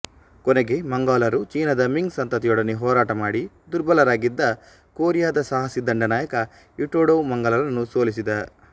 ಕೊನೆಗೆ ಮಂಗೋಲರು ಚೀನದ ಮಿಂಗ್ ಸಂತತಿಯೊಡನೆ ಹೋರಾಟ ಮಾಡಿ ದುರ್ಬಲರಾಗಿದ್ದಾಗ ಕೊರಿಯದ ಸಾಹಸಿ ದಂಡನಾಯಕ ಯೀಟೇಜೋ ಮಂಗೋಲರನ್ನು ಸೋಲಿಸಿದ